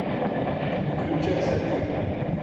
включай сатиру